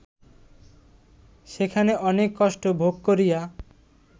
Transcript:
সেখানে অনেক কষ্ট ভোগ করিয়া